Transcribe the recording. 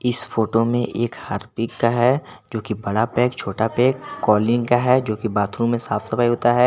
इस फोटो में एक हार्पिक का है जो की बड़ा पैक छोटा पैक कोलिन का है जो की बाथरूम में साफ सफाई होता है।